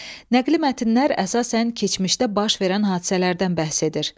Nəqli mətnlər əsasən keçmişdə baş verən hadisələrdən bəhs edir.